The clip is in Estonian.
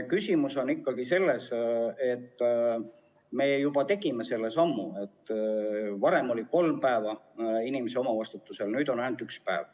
Küsimus on ikkagi selles, et me juba tegime selle sammu: varem oli kolm päeva inimese omavastutus, nüüd on ainult üks päev.